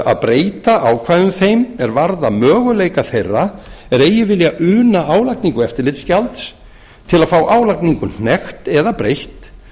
að breyta ákvæðum þeim er varða möguleika þeirra er eigi vilja una álagningu eftirlitsgjalds til að fá álagningu hnekkt eða breytt